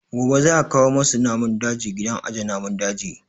Gobe za a kawo wasu namun daji gidan aje namun daji